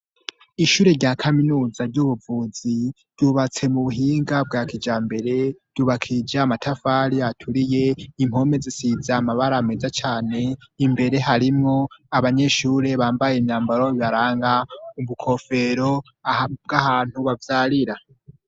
Ishure rya kaminuza ry'ubuvuzi ryubatse mu buhinga bwa kijambere, ryubakishije amatafari aturiye, impome zisize amabara meza cane, imbere harimwo abanyeshure bambaye imyambaro ibaranga, ubukofero bw'ahantu bavyarira.